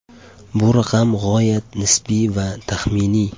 Bu raqam g‘oyat nisbiy va taxminiy.